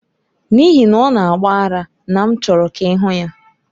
N'ihi na ọ na-agba ara na m chọrọ ka ị hụ ya.